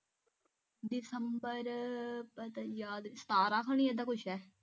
ਦਸੰਬਰ ਪਤਾ ਯਾਦ ਸਤਾਰਾ ਹੋਣੀ ਇਦਾ ਕੁਛ ਹੈ